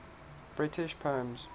british poems